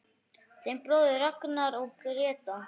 Þinn bróðir Ragnar og Gréta.